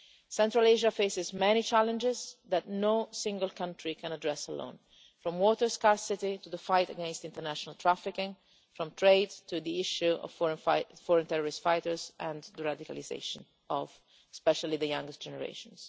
Central Asia faces many challenges that no single country can address alone, from water scarcity to the fight against international trafficking, from trade to the issue of foreign terrorist fighters and the radicalisation of, especially, the younger generations.